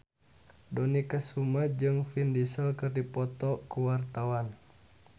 Dony Kesuma jeung Vin Diesel keur dipoto ku wartawan